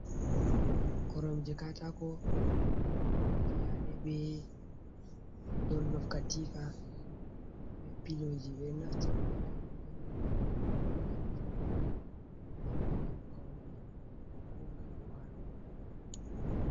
Koromje katako fiyaɗe be donlof, katifa be piloji. Ɓe ɗo naftira be koromje on ngam joɗugo be bo ngam paune ko ngam walugo.